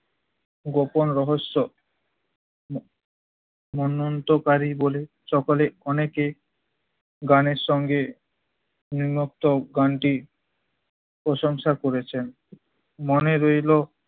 গোপন রহস্য মনন্তকারী বলে সকলে অনেকে গানের সঙ্গে নিম্নোক্ত গানটি প্রশংসা করেছেন। মনে রইল